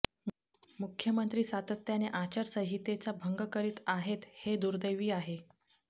मुख्यमंत्री सातत्याने आचारसंहितेचा भंग करित आहेत हे दुर्देवी आहे